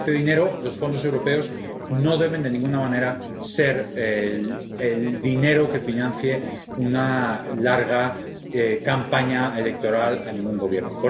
Este dinero —los fondos europeos— no debe de ninguna manera ser el dinero que financie una larga campaña electoral a ningún gobierno.